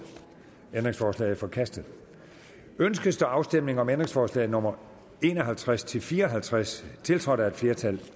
ændringsforslaget er forkastet ønskes der afstemning om ændringsforslag nummer en og halvtreds til fire og halvtreds tiltrådt af et flertal